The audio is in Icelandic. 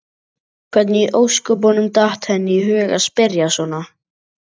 Hvernig í ósköpunum datt henni í hug að spyrja svona!